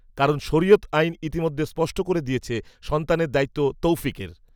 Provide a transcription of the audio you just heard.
কারণ, শরিয়ত আইন ইতিমধ্যেই স্পষ্ট করে দিয়েছে, সন্তানের দায়িত্ব, তৌফিকের